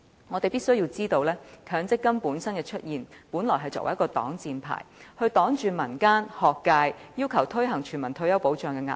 我們必須知道，強積金的出現，本來是作為一個擋箭牌，擋着民間和學界要求推行全民退休保障的壓力。